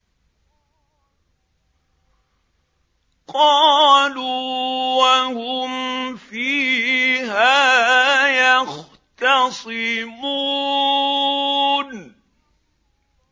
قَالُوا وَهُمْ فِيهَا يَخْتَصِمُونَ